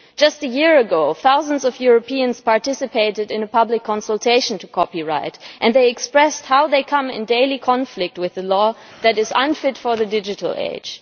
Just a year ago, thousands of Europeans participated in a public consultation on copyright, and they expressed how they come into daily conflict with a law that is unfit for the digital age.